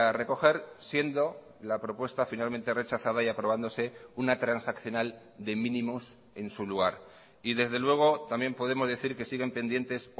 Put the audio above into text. recoger siendo la propuesta finalmente rechazada y aprobándose una transaccional de mínimos en su lugar y desde luego también podemos decir que siguen pendientes